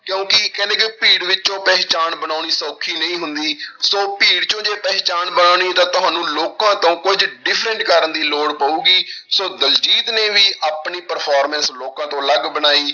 ਕਿਉਂਕਿ ਕਹਿੰਦੇ ਕਿ ਭੀੜ ਵਿੱਚੋਂ ਪਹਿਚਾਣ ਬਣਾਉਣੀ ਸੌਖੀ ਨਹੀਂ ਹੁੰਦੀ ਸੌ ਭੀੜ ਚੋਂ ਜੇ ਪਹਿਚਾਣ ਬਣਾਉਣੀ ਤਾਂ ਤੁਹਾਨੂੰ ਲੋਕਾਂ ਤੋਂ ਕੁੱਝ different ਕਰਨ ਦੀ ਲੋੜ ਪਊਗੀ, ਸੋ ਦਲਜੀਤ ਨੇ ਵੀ ਆਪਣੀ performance ਲੋਕਾਂ ਤੋਂ ਅਲੱਗ ਬਣਾਈ।